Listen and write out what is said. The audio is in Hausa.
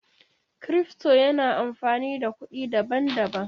Cryfto yana amfani da kuɗi daban-daban.